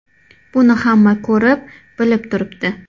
Buni hamma ko‘rib, bilib turibdi.